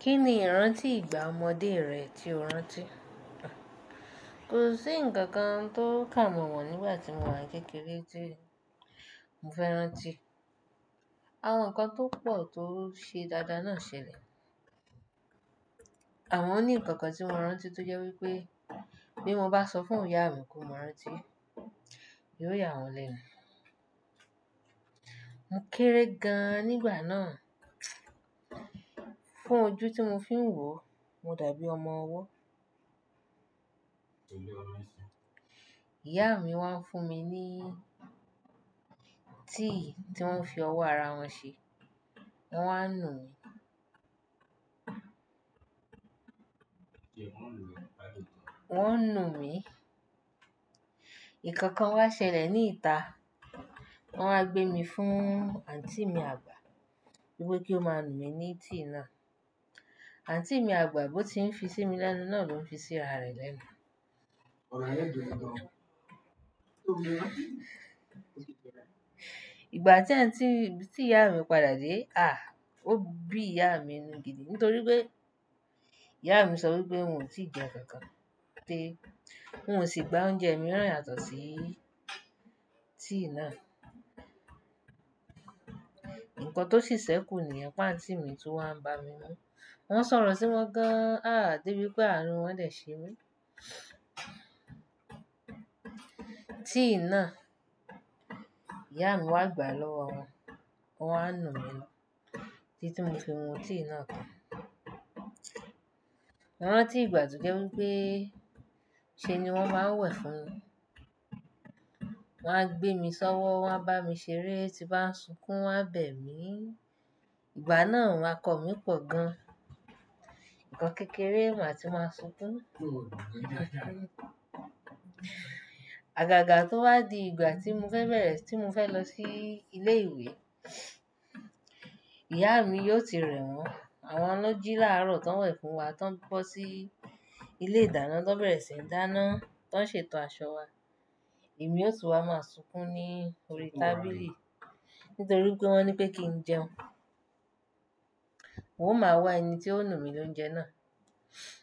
Kí ni ìrántí ìgbà ọmọdé rẹ tí o rántí? Kò sí ǹkan kan tó kàmọ́mọ nígbà tí mo wà kékeré tí mo fẹ́ rántí. Àwọn nǹkan tó pọ̀ tó ṣe dada náà ṣẹlẹ̀. Àwọn ní nǹkan tí mo rántí tó jẹ́ wípé bí mo bá sọ fún ìyá mi kó máa rántí, yóò yà wọ́n lẹ́nu. Mo kéré gan-an nígbà náà. Fún ojú tí mo fi ń wò, mo dàbí ọmọ ọwọ́. Ìyá mi wá ń fún mi ní tíì tí wón fi ọwọ́ ara wọn ṣe. Wọ́n wá ń nu mi. Wọ́n ń nu mi. Ìkankan wá ṣẹlẹ̀ ní ìta. Wọ́n wá gbé mi fún àǹtí mi àgbà wípé kí ó má nu mi ní tíì náà. Àǹtí mi àgbà bó ti ń fi sí mi lẹ́nu náà ló ń fi sí ara rẹ̀ lẹ́nu. Ìgbà tí àǹtí-- tí ìyá mi padà dé, àh! Ó bí ìyá mi nù gidi nítorí pé ìyá mi sọ wípé n ò tí ì jẹ ǹkan kan pé. N ò sì gba oúnjẹ mìíràn yàtọ̀ sí tíì náà. Nǹkan tó ṣì sẹ́kù niyen pe àǹtí mi tun wá ń bá mi mú. Wọ́n soro sí wọn gan-an, àh! De bí pé àánú wọn dẹ̀ ṣe mí. Tíì náà ìyá mi wá gbà lọ́wọ́ wọn, wọ́n wá nu mi lọ́wọ́. Tí tí mo fi mu tíì náà tán. Mo rántí ìgbà tó jẹ́ wípé ṣe ni wón máa ń wẹ̀ fún mi. Wón á gbé mi sọ́wọ́, wọ́n a bá mi ṣeré, tí bá ń sunkún wọ́n á bẹ̀ mí. Ìgbà náà akọ mi pọ̀ gan. Ìkan kékeré màá tí máa ń sunkún. Àgàgà tó wá di ìgbà tí mo fẹ́ bẹ̀rẹ̀, tí mo fẹ́ lọ sí ilé ìwé, ìyá mi yóò ti rẹ̀ wọ́n. Àwọn na jí lárọ̀ tó ń wẹ̀ fún wa tó ń bọ́ sí ilé ìdáná, tó ń bẹ̀rẹ̀ sí ń dáná, tó ń ṣètò aṣọ wa. Èmi yóò tún wá máa sunkún ní orí tábìlì nítorí pé wọ́n ní pé kí n jẹun. Wo máa wá ẹni tí ó nu mi ní oúnjẹ náà.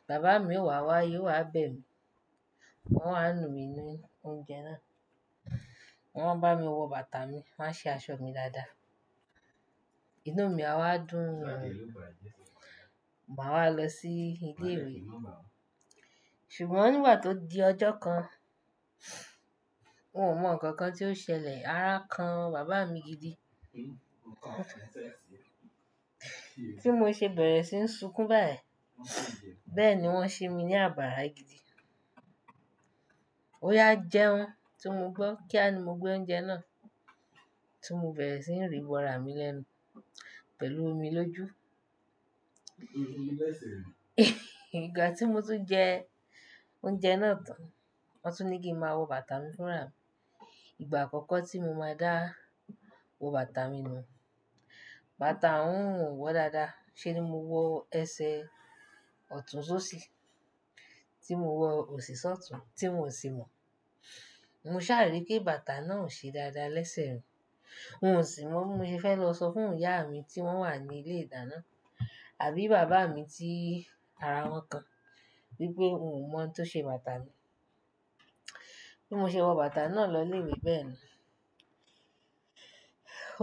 Bàbá mi ó wá wá yóò wá bẹ̀ mí. Wọ́n wá nu mi ní oúnjẹ náà. Wọ́n bá mi wọ bàtà mi, wọ́n ṣe aṣọ mi dáadáa. Inú mi á wá dùn, màá wá lọ sí ilé ìwé. Ṣùgbọ́n nígbà tó di ọjọ́ kan, won ò mọ̀ ǹkan kan tí ó ṣẹlẹ̀, ara kan bàbá mi gidi. Tí mo ṣe bẹ̀rẹ̀ sí ń sunkún báyìí, bẹ́ẹ̀ ni wọ́n ṣi mi ní àbárà gidi. Oya jẹun tí mo gbọ́, kí á ni mo gbé oúnjẹ náà tí mo bere sì ń rì bọra mi lẹ́nu pẹ̀lú omi lójú. Ìgbà tí mo tún jẹ oúnjẹ náà tán, wọ́n tún ní kí ma wọ bàtà mi fúnra. Ìgbà àkọ́kọ́ tí mo máa dá wọ bàtà mi nù. Bàtà náà ò wọ́ dáadáa ṣe ni mo wọ ẹsẹ̀ ọ̀tún só sí, tí mo wọ òsì sọ́tùn tí wòn sì mọ̀. Mo ṣàrí pé bàtà náà ò ṣe dáadáa lẹ́sẹ̀ rìn. Mi ò sì mọ̀ bó ṣe fẹ́ lọ sọ fún ìyá mi tí wọ́n wà ní ilé ìdáná àbí bàbá mi tí ara kàn wípé miò mọ̀n tó ṣe bàtà mi. Bí mo ṣe wọ bàtà náà lọ ilé ìwé bẹ́ẹ̀ nu.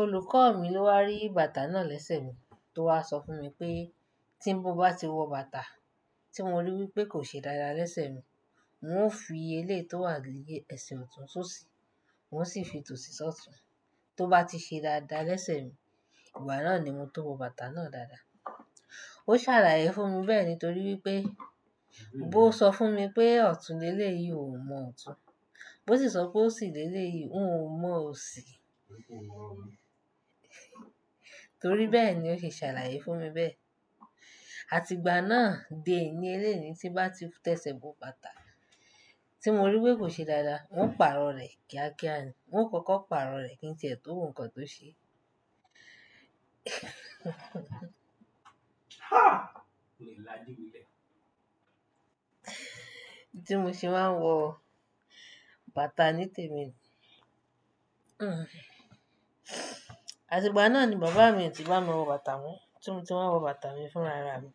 Olùkọ́ mi ló wá rí bàtà náà lẹ́sẹ̀ min tó wá sọ fún mi pé tí mo bá ti wọ bàtà tí mo rí wípé kò ṣe dáadáa lẹ́sẹ̀ mìn, hun ó fi eléyi tó wà ni ẹsẹ̀ ọ̀tún só sí, n ó sì fi tò sí sọ́tùn. Tó bá ti ṣe dáadáa lẹ́sẹ̀ rìn, ìgbà náà ni mo tó wọ bàtà náà dáadáa. Ó ṣàlàyé fún mi bẹ́ẹ̀ nítorí wípé o sọ fún mi pé ọ̀tún lé lé yìí hun o mọ̀ ọ̀tún, bó sì sọ pé òsì lé lé yìí hun mọ̀ òsì. Nítorí bẹ́ẹ̀ ni ó ṣe ṣàlàyé fún mi bẹ́ẹ̀. Àti ìgbà náà de ení eni tí mo bá ti tẹsẹ̀ wọ bàtà tí mo rí wípé kò ṣe dáadáa, n ó pàrọ̀ rẹ̀ kíákíá ni. Hun ó kọ́kọ́ pàrọ̀ rẹ̀ kí n tiẹ̀ tò man ohun kan tó ṣe. Tí mo sì máa ń wọ bàtà ní tèmi. Àti ìgbà náà ni bàbá mi tí bá mi wọ bàtà mo tí mo ti máa wọ bàtà mi fúnraara mi.